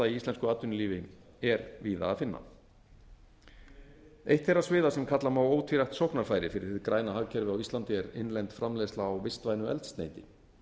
íslensku atvinnulífi er víða að finna eitt þeirra sviða sem kalla má ótvírætt sóknarfæri fyrir hið færa hagkerfi á íslandi er innlend framleiðsla á vistvænu eldsneyti